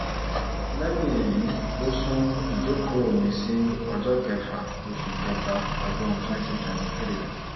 lẹ́yìn èyí ló sún ìjókòó mi-ín sí ọjọ́ kẹfà oṣù kẹta ọdún twenty twenty three